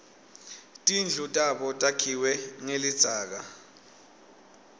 tindlu tabo takhiwe ngelidzaka